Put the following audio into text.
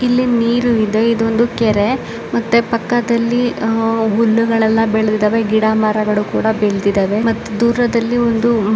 ಇಲ್ಲಿ ನೀರು ಇದೆ ಇದೊಂದು ಕೆರೆ ಮತ್ತೆ ಪಕ್ಕದಲ್ಲಿಅಹ್ ಹುಲ್ಲುಗಳೆಲ್ಲ ಬೆಳೆದಿದ್ದಾವೆ ಗಿಡ ಮರಗಳು ಕೂಡ ಬೆಳೆದಿದ್ದಾವೆ ಮತ್ತೆ ದೂರದಲ್ಲಿ ಒಂದು --